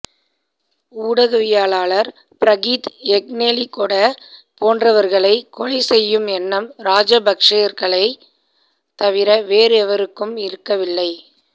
ஊடகவியலாளர் பிரகீத் எக்னெலிகொட போன்றவர்களை கொலைச் செய்யும் எண்ணம் ராஜபக்ஷர்களை தவிர வேறெவருக்கும் இருக்கவில்லை